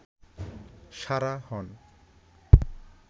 সারা হন